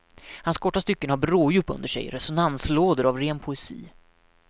Hans korta stycken har bråddjup under sig, resonanslådor av ren poesi.